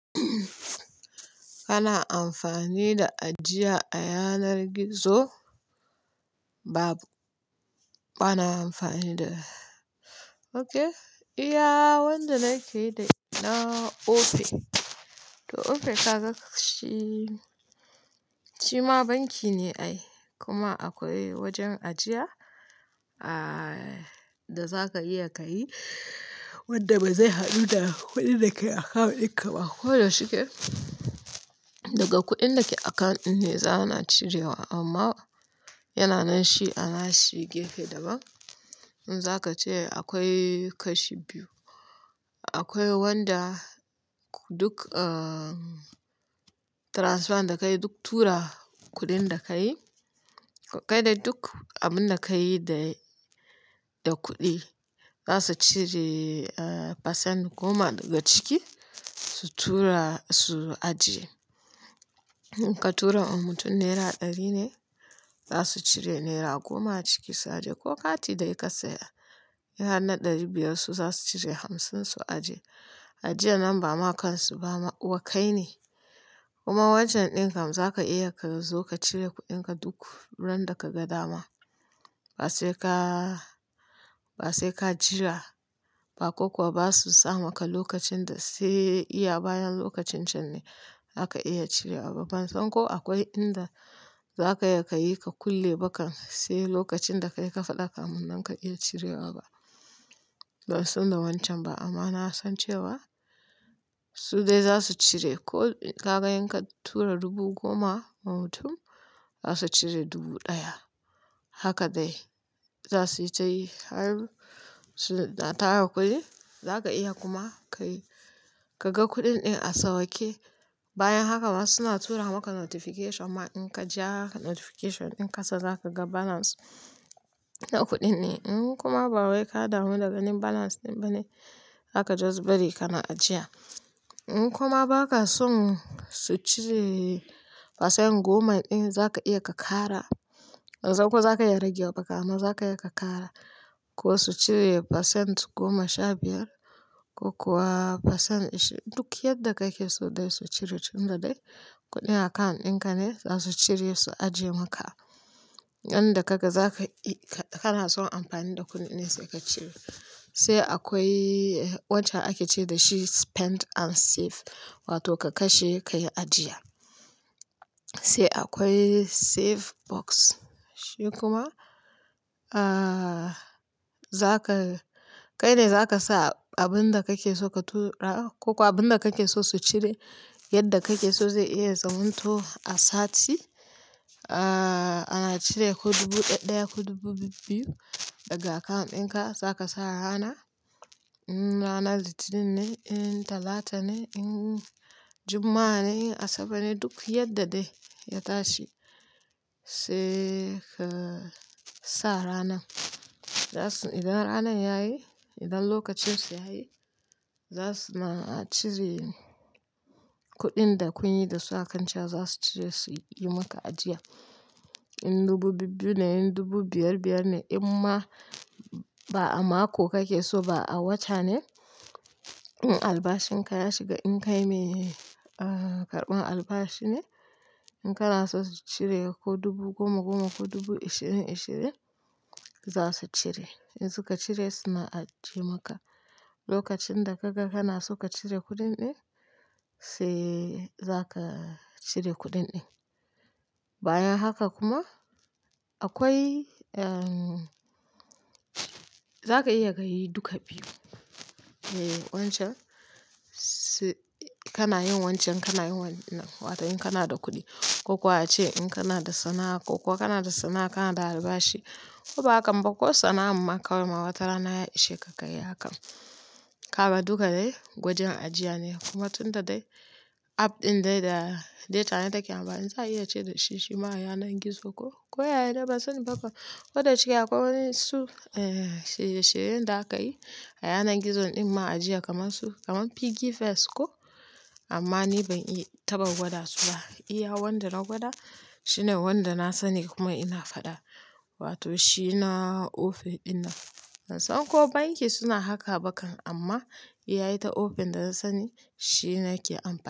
Ana amfani da ajiya a yanar gizo. Babu. Ba na amfani da Ok, iya wanda nake yi da ita na Opay. To Opay ka ga shi, shi ma banki ne ai, kuma akwai wajen ajiya, da za ka iya ka yi, wanda ba zai haɗu da kuɗin da ke akawun ɗinka ba. Ko da shike, daga kuɗin da ke akawun ne za a na cirewa amma yana nan shi anashi gefen daban. In za ka ce akwai kashi biyu, akwai wanda duk transfer da ka yi duk tura kuɗin da ka yi, kai dai duk abin da ka yi da kuɗi, za su cire, pasent goma daga ciki su tura, su ajiye. In ka tura wa mutum naira ɗari ne, za su cire naira goma a ciki su ajiye ko kati dai ka saya. In har na ɗari biyar su za su cire hamsin su ajiye. Ajiya nan ba makansu ba ma kai ne. Kuma wancan ɗin kam za ka iya ka zo ka cire kuɗinka duk ran da ka ga dama. Ba sai ka jira ba ko kuwa ba su sa maka lokacin da sai iya bayan lokacin can ne za ka iya cirewa ba. Ban san ko akwai inda za ka iya ka yi ka kulle ba kan sai lokacin da ka yi ka faɗa kamun nan ka iya cirewa ba. Ban san da wancan ba amma na san cewa su dai za su cire. Ka ga in ka tura dubu goma wa mutum, za su cire dubu ɗaya. Haka dai za su yi ta yi har su na tara kuɗi. Za ka iya kuma ka yi, ka ga kuɗin ɗin a sauƙe. Bayan haka ma suna tura maka notification ma in ka je notification ɗin kasa za ka ga balance na kuɗin ne. In kuma ba wai ka damu da ganin balance ɗin ba ne, zaka bari kawai kana ajiya. In kuma ba ka son su cire pasent goma ɗin bane za ka iya ka ƙara. Ban san ko za ka iya rage wa ba amma za ka iya ka ƙara. Ko su cire pasent goma sha biyar ko kuwa pasent ashirin. Duk yadda kake so dai su cire tunda dai kuɗin account ɗin ka ne, za su cire su ajiye maka. Yan da ka ga za ka yi, ka na son amfani da kuɗin ne sai ka cire. Sai akwai wanda ake ce mai spend and save wato ka kashe ka yi ajiya. Sai akwai save box shi kuma, kai ne za ka sa abin da kake so su cire. Yadda kake so zai iya zamanto a sati, ana cire ko dubu ɗaya ko dubu biyu daga account ɗin ka, za ka sa rana, in ranar Litinin ne, in Talata ne, in Juma'a ne, in Asabar ne, duk yadda dai ya tashi sai ka sa ranan. Idan ranan yayi, idan lokacin su yayi, za su ringa cire kuɗin da kuka yi da su akanci za su cire su yi maka ajiya. In dubu biyu ne in dubu biyar-biyar ne in ma ba a mako kake so ba a wata ne, in albashin ka ya shiga in kai mai, karɓan albashi ne, in kana so su cire ko dubu goma-goma ko dubu ashirin-ashirin, za su cire. In suka cire suna ajiye maka. Lokacin da ka ga kana so ka cire kuɗin ɗin za ka cire kuɗin ɗin. Bayan haka kuma akwai, za ka iya ka yi duka biyu. E kana yin wancan kana yin wannan. Wato in kana da kuɗi ko kuwa ace in kana da sana'a ko kuwa kana da sana'a kana da albashi ko ba hakam ba ko sana'ar ma kawai wata rana ya ishe ka ka yi hakan. Kaga duka dai wajen ajiya ne kuma tunda dai app ɗin dai da data ne take amfa in za a iya ce dashi shi l, shima a yanar gizo ko, ko yane ba sani ba kan. Ko da shike akwai wasu, shirye-shiryen da aka yi a yanar gizon ɗin ma ajiya kamar su PiggyVest, amma ni ban yi taɓa gwada su ba. Iya wanda na gwada shine wanda na sani kuma ina faɗa. Wato shi na Opay ɗin nan. Ban san ko banki suna haka ba kan amma iyata Opay da na sani shine nake amfani.